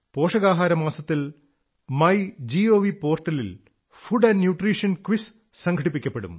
പോഷകാഹാരമാസത്തിൽ My Gov പോർട്ടലിൽ food and nutrition quiz സംഘടിപ്പിക്കപ്പെടും